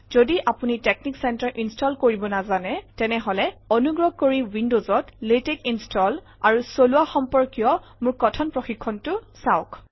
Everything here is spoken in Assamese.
যদি আপুনি টেক্সনিক চেণ্টাৰ ইনষ্টল কৰিব নাজানে তেনেহলে অনুগ্ৰহ কৰি উইণ্ডজত লাতেশ ইনষ্টল আৰু চলোৱা সম্পৰ্কীয় মোৰ কথন প্ৰশিক্ষণটো চাওক